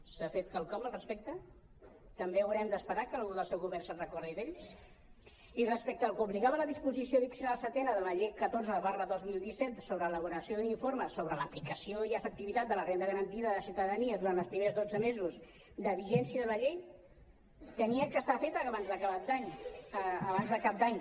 s’ha fet quelcom al respecte també haurem d’esperar que algú del seu govern es recordi d’ells i respecte al que obligava la disposició addi·cional setena de la llei catorze dos mil disset sobre elaboració d’informes sobre l’aplicació i efec·tivitat de la renda garantida de ciutadania durant els primers dotze mesos de vigèn·cia de la llei havia d’estar feta abans de cap d’any